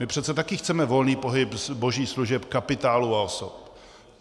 My přece taky chceme volný pohyb zboží, služeb, kapitálu a osob.